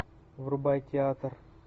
врубай театр